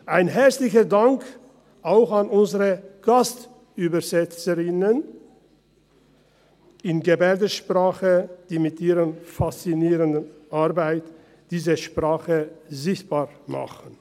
Einen herzlichen Dank auch an unsere Gastübersetzerinnen für Gebärdensprache, die mit ihrer faszinierenden Arbeit diese Sprache sichtbar machen.